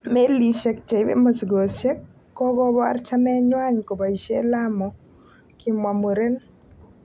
"Melisiek cheibe mosigosiek, Kokobor chamenywan koboishien Lamu"Kimwa muren.